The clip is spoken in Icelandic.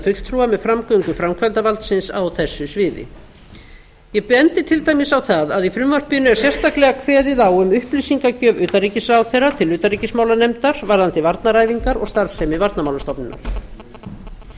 fulltrúa með framgöngu framkvæmdarvaldsins á þessu sviði ég bendi til dæmis á það að í frumvarpinu er sérstaklega kveðið á um upplýsingagjöf utanríkisráðherra til utanríkismálanefndar varðandi varnaræfingar og starfsemi varnarmálastofnunar